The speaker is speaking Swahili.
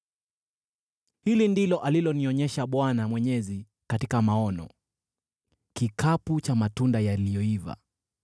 Hili ndilo alilonionyesha Bwana Mwenyezi katika maono: kikapu cha matunda yaliyoiva.